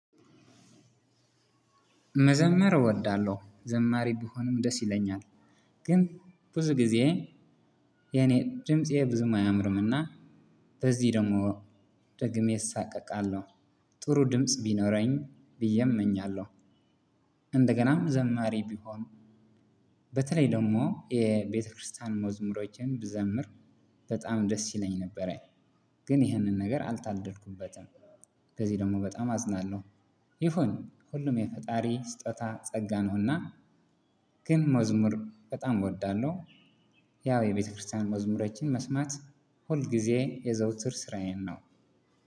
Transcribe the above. መዘመር እወዳለሁ ዘማሪ ብሆንም ደስ ይለኛል ግን ብዙ ጊዜ የኔ ድምፄ ብዙም አያምርምና በዚህ ደግሞ ደግሜ እሳቀቃለሁ። ጥሩ ድምጽ ቢኖረኝ ብዬ እመኛለሁ። እንደገናም ዘማሪ ብሆን። በተለይ ደግሞ የቤተክርስቲያን መዝሙሮችን ብዘምር በጣም ደስ ይለኝ ነበረ። ግን ይህንን ነገር አልታደልኩበትም። በዚህ ደግሞ በጣም አዝናለሁ። ይሁን ሁሉም የፈጣሪ ስጦታ ጸጋ ነውና። ግን መዝሙር በጣም እወዳለሁ። ያው የቤተክርስቲያን መዝሙሮችን መስማት ሁልጊዜ የዘውትር ስራዬ ነው።